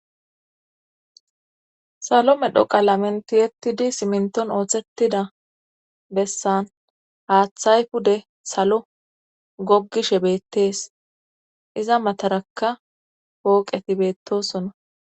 salo medho qalamenti yettidi siminton ooththettida bessan haaththay pude salo gogishe beettees iza matarakka pooqeti beettosona